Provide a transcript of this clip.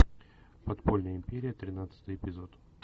подпольная империя тринадцатый эпизод